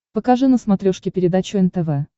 покажи на смотрешке передачу нтв